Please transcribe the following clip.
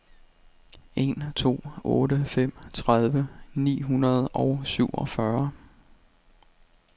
en to otte fem tredive ni hundrede og syvogfyrre